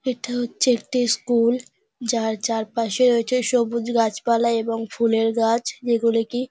এটা হচ্ছে একটা স্কুল যার চারপাশে রয়েছে সবুজ গাছপালা এবং ফুলের গাছ যেগুলো কি--